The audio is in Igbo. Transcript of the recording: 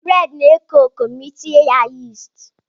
Bredị na-eko eko ma Ị tinye ya yisti.